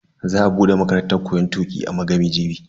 Za a bude makarantan koyon tuki a Magami jibi.